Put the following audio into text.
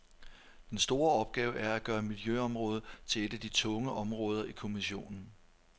Den store opgave er at gøre miljøområdet til et af de tunge områder i kommissionen.